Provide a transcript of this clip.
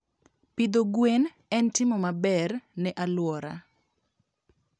Pidho gwen en timo maber ne alwora.